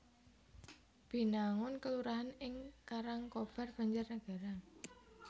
Binangun kelurahan ing Karangkobar Banjarnegara